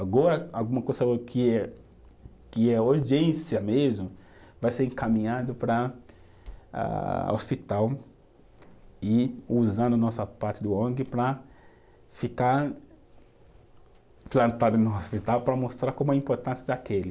Agora, alguma coisa que é, que é urgência mesmo, vai ser encaminhado para ah hospital e usando a nossa parte do Ong para ficar implantada no hospital para mostrar como a importância daquele.